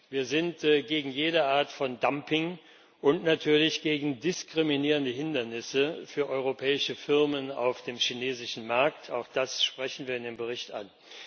Wir sind sehr gegen jede Art von Dumping und natürlich gegen diskriminierende Hindernisse für europäische Firmen auf dem chinesischen Markt auch das sprechen wenn im Bericht an.